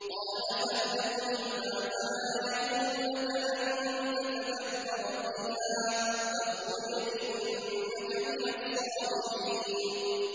قَالَ فَاهْبِطْ مِنْهَا فَمَا يَكُونُ لَكَ أَن تَتَكَبَّرَ فِيهَا فَاخْرُجْ إِنَّكَ مِنَ الصَّاغِرِينَ